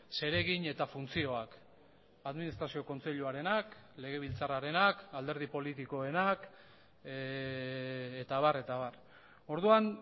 zeregin eta funtzioak administrazio kontseiluarenak legebiltzarrarenak alderdi politikoenak eta abar eta abar orduan